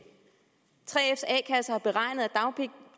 3fs a kasse har beregnet at